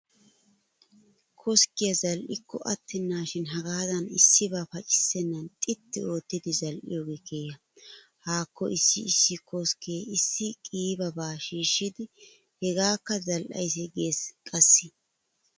Koskkiya zal"ikko attennaashin hagaadan issibaa pacissennan xitti oottidi zal"iyogee keha! Haakko issi issi koskke issi qiibaba shiishshidi hegaakka zal"aysi geesi qassi!